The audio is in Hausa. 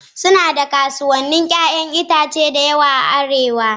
Suna da kasuwannin 'ya'yan itace da yawa a Arewa.